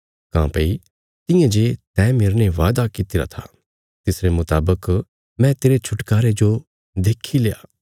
काँह्भई तियां जे तैं मेरने वादा कित्तिरा था तिसरे मुतावक मैं तेरे छुटकारा देणे औल़े जो देखीलरा